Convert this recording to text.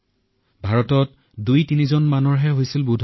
কাৰণ ভাৰতত তেতিয়া দুই নে তিনিজন লোকৰহে হৈছিল